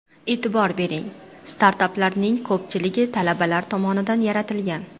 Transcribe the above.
E’tibor bering, startaplarning ko‘pchiligi talabalar tomonidan yaratilgan.